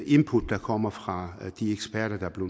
input der kommer fra de eksperter der blev